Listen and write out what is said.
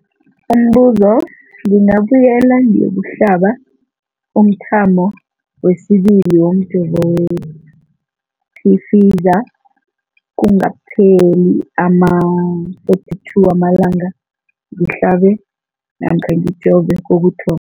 Umbuzo, ngingabuyela ngiyokuhlaba umthamo wesibili womjovo we-Pfizer kungakapheli ama-42 wamalanga ngihlabe namkha ngijove kokuthoma.